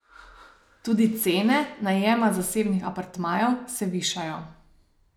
Tudi cene najema zasebnih apartmajev se višajo.